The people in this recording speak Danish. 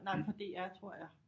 Nej fra DR tror jeg